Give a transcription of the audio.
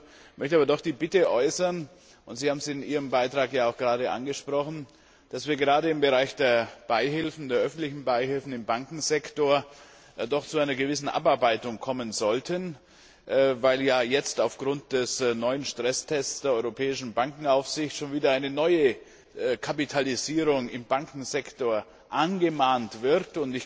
Ich möchte aber doch die Bitte äußern und Sie haben es ja in Ihrem Beitrag gerade angesprochen dass wir gerade im Bereich der öffentlichen Beihilfen im Bankensektor doch zu einer gewissen Abarbeitung kommen sollten, weil ja jetzt aufgrund des neuen Stresstests der europäischen Bankenaufsicht schon wieder eine neue Kapitalisierung im Bankensektor angemahnt wird.